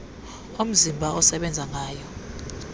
omzimba asebenza ngayo